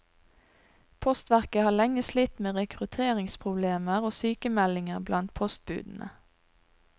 Postverket har lenge slitt med rekrutteringsproblemer og sykemeldinger blant postbudene.